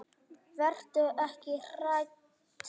Vertu ekki hrædd.